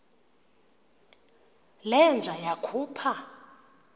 le nja yakhupha